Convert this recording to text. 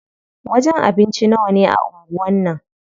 Wajen abinci nawane a anguwan nan?